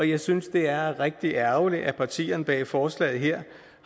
jeg synes det er rigtig ærgerligt at partierne bag forslaget her